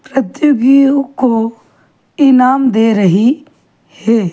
अतिथिओं को इनाम दे रही हे ।